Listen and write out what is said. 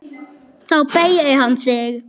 Já þú en ekki þér!